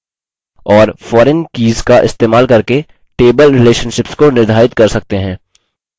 और foreign keys का इस्तेमाल करके table relationships को निर्धारित कर सकते हैं